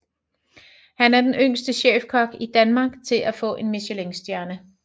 Han er den yngste chefkok i Danmark til at få en Michelin stjerne